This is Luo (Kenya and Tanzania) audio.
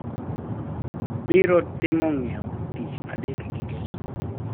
Biro timo ng`iewo tich Adek gi Ngeso